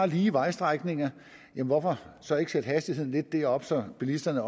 lige vejstrækning hvorfor så ikke sætte hastigheden lidt op så bilisterne